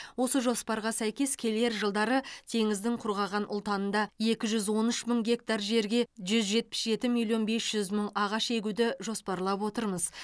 осы жоспарға сәйкес келер жылдары теңіздің құрғаған ұлтанында екі жүз он үш мың гектар жерге жүз жетпіс жеті миллион бес жүз мың ағаш егуді жоспарлап отырмыз